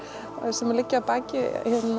sem liggja að baki